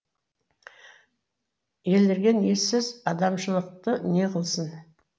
елірген ессіз адамшылықты не қылсын